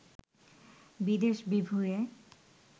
বিদেশ-বিভূঁইয়ে